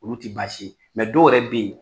Olu ti baasi dɔw yɛrɛ be yen